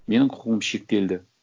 менің құқығым шектелді